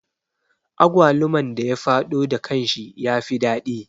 Agwaluman da ya faɗo da kanshi ya fi daɗi